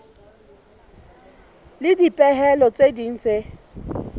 le dipehelo tse ding tse